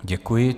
Děkuji.